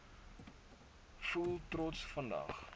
voel trots vandag